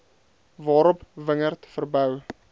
waarop wingerd verbou